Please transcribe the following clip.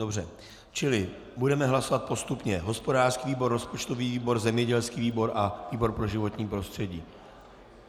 Dobře, čili budeme hlasovat postupně hospodářský výbor, rozpočtový výbor, zemědělský výbor a výbor pro životní prostředí.